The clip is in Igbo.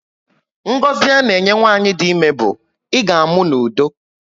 Ngọzi a na enye nwanyị dị ímé bu, "I ga amụ n'udo"